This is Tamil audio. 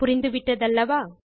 புரிந்துவிட்டதல்லவா